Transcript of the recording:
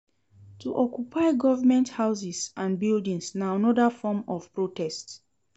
To occupy government houses and buildings na another form of protest